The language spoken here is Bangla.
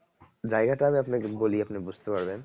জায়গাটা আমি আপনাকে বলি আপনি বুঝতে পারবেন